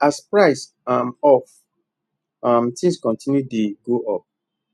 as price um of um things continue to dey go up